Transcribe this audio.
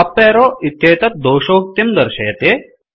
अप arrow इत्येतत् दोषोक्तिं दर्शयति